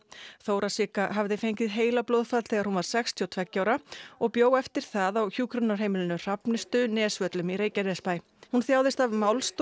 Þóra Sigga hafði fengið heilablóðafall þegar hún var sextíu og tveggja ára og bjó eftir það á hjúkrunarheimilinu Hrafnistu Nesvöllum í Reykjanesbæ hún þjáðist af